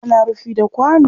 Ana rufi da kwano